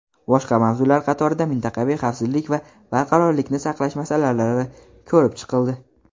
Boshqa mavzular qatorida mintaqaviy xavfsizlik va barqarorlikni saqlash masalalari ko‘rib chiqildi.